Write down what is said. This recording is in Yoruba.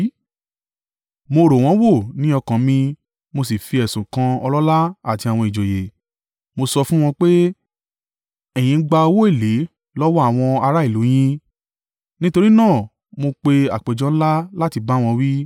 Mo rò wọ́n wò ní ọkàn mi mo sì fi ẹ̀sùn kan ọlọ́lá àti àwọn ìjòyè. Mo sọ fún wọn pé, ẹ̀yin ń gba owó èlé lọ́wọ́ àwọn ará ìlú u yín! Nítorí náà mo pe àpéjọ ńlá láti bá wọn wí.